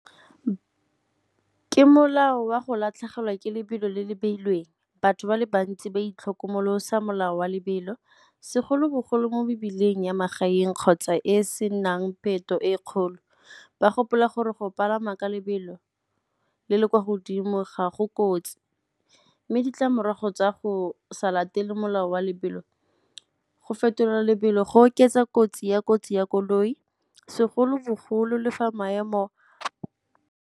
Ke molao wa go latlhegelwa ke lebelo le le beilweng. Batho ba le bantsi ba itlhokomolosa molao wa lebelo, segolobogolo mo mebileng ya magaeng kgotsa e e senang e kgolo, ba gopola gore go palama ka lebelo le le kwa godimo ga go kotsi. Mme ditlamorago tsa go sa latele molao wa lebelo, go fetolela lebelo go oketsa kotsi ya kotsi ya koloi, segolobogolo le fa maemo.